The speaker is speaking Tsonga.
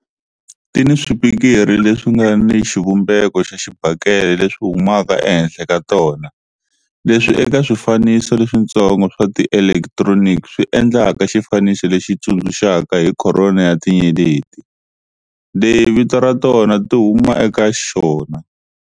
Ti ni swipikiri leswi nga ni xivumbeko xa xibakele leswi humaka ehenhla ka tona, leswi eka swifaniso leswitsongo swa tielektroni swi endlaka xifaniso lexi tsundzuxaka hi corona ya tinyeleti, leyi vito ra tona ti huma eka xona.